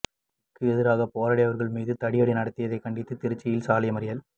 க்கு எதிராக போராடியவர்கள் மீது தடியடி நடத்தியதைக் கண்டித்து திருச்சியில் சாலை மறியல்